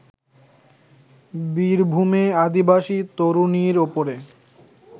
বীরভূমে আদিবাসী তরুণীর ওপরে